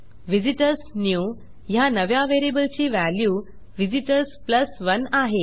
visitors new ह्या नव्या व्हेरिएबलची व्हॅल्यू व्हिझिटर्स 1 आहे